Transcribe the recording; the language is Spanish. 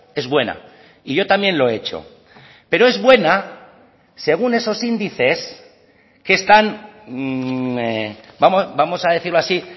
es buena y yo también lo he hecho pero es buena según esos índices que están vamos a decirlo así